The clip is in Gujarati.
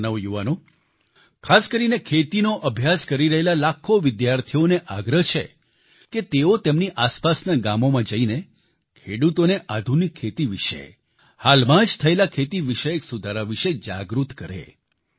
મારા નવયુવાનો ખાસકરીને ખેતીનો અભ્યાસ કરી રહેલા લાખો વિદ્યાર્થીઓને આગ્રહ છે કે તેઓ તેમની આસપાસના ગામોમાં જઈને ખેડૂતોને આધુનિક ખેતી વિશે હાલમાં જ થયેલા ખેતી વિષયક સુધારા વિશે જાગૃત કરે